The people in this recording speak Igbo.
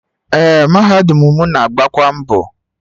Ee, mahadum mụ na-agbakwa mbọ.